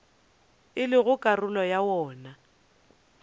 e lego karolo ya wona